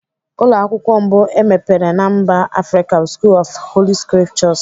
Ụlọ akwụkwọ mbụ emepere na mba Afrịka bụ School of Holy scriptures.